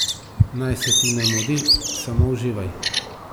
Naj se ti ne mudi, samo uživaj.